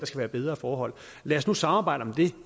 skal være bedre forhold lad os nu samarbejde om det